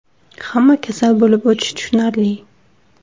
Hamma kasal bo‘lib o‘tishi tushunarli.